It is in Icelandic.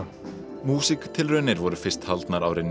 músíktilraunir voru fyrst haldnar árið nítján